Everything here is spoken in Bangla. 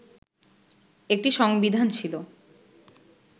একটি সংবিধান ছিল